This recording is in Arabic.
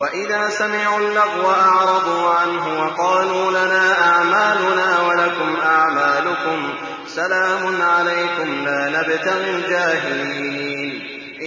وَإِذَا سَمِعُوا اللَّغْوَ أَعْرَضُوا عَنْهُ وَقَالُوا لَنَا أَعْمَالُنَا وَلَكُمْ أَعْمَالُكُمْ سَلَامٌ عَلَيْكُمْ لَا نَبْتَغِي الْجَاهِلِينَ